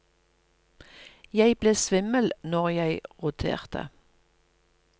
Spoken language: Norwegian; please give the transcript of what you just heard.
Jeg ble svimmel når jeg roterte.